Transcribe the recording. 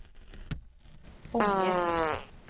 Ånge